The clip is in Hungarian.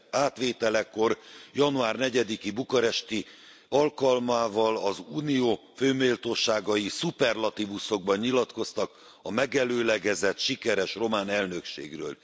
átvételekor, január negyediki bukaresti alkalmával az Unió fő méltóságai szuperlatívuszokban nyilatkoztak a megelőlegezett sikeres román elnökségről.